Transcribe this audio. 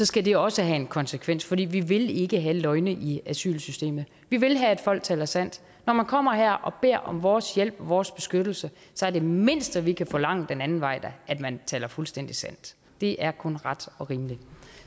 skal det også have en konsekvens for vi vil ikke have løgne i asylsystemet vi vil have at folk taler sandt når man kommer her og beder om vores hjælp og vores beskyttelse er det mindste vi da kan forlange den anden vej at man taler fuldstændig sandt det er kun ret og rimeligt